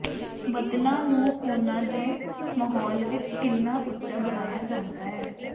ਬੱਦਲਾਂ ਨੂੰ ਉਨ੍ਹਾਂ ਦੇ ਮਾਹੌਲ ਵਿਚ ਕਿੰਨਾ ਉੱਚਾ ਬਣਾਇਆ ਜਾਂਦਾ ਹੈ